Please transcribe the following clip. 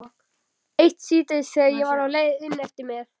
Eitt síðdegi þegar ég var á leið inneftir með